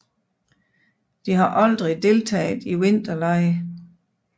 De har aldrig deltaget i vinterlege